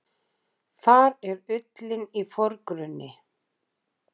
Þar er ullin í forgrunni.